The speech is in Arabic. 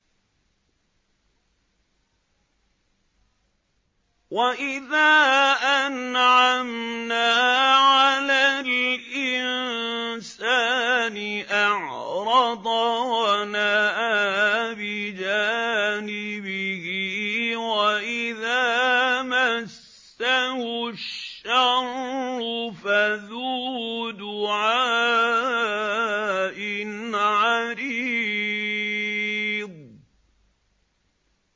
وَإِذَا أَنْعَمْنَا عَلَى الْإِنسَانِ أَعْرَضَ وَنَأَىٰ بِجَانِبِهِ وَإِذَا مَسَّهُ الشَّرُّ فَذُو دُعَاءٍ عَرِيضٍ